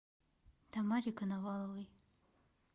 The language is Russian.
тамаре коноваловой